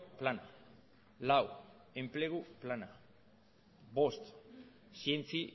plana lau enplegu plana bost zientzi